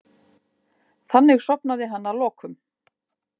Þannig sofnaði hann að lokum.